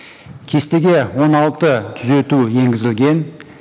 кестеге он алты түзету енгізілген